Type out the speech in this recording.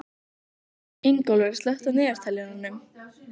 Ingólfur, slökktu á niðurteljaranum.